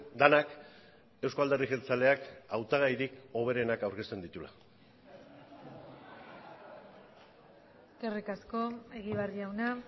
denak euzko alderdi jeltzaleak hautagairik hoberenak aurkezten dituela eskerrik asko egibar jauna